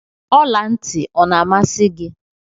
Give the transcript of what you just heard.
Ọla ntị ọ na-amasi gị?